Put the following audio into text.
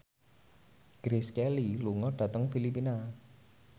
Grace Kelly lunga dhateng Filipina